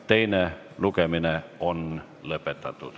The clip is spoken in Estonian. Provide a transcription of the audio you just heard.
Teine lugemine on lõpetatud.